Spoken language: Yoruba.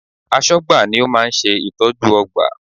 Aṣọ́gbà ni ó máa ń ṣe ìtọ́jú ọgbà